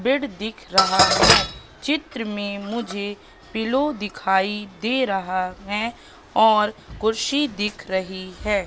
Bed दिख रहा है चित्र में मुझे पिलो दिखाई दे रहा है और कुर्सी दिख रही है।